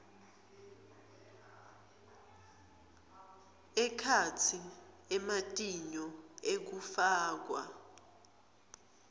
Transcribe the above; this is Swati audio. ekhatsi ematinyo ekufakwa